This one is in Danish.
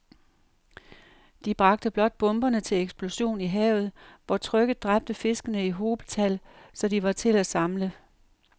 De bragte blot bomberne til eksplosion i havet, hvor trykket dræbte fiskene i hobetal, så de var til at samle